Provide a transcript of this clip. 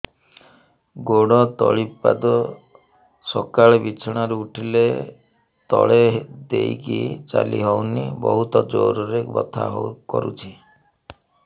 ଗୋଡ ତଳି ପାଦ ସକାଳେ ବିଛଣା ରୁ ଉଠିଲେ ତଳେ ଦେଇକି ଚାଲିହଉନି ବହୁତ ଜୋର ରେ ବଥା କରୁଛି